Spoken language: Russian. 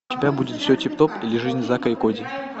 у тебя будет все тип топ или жизнь зака и коди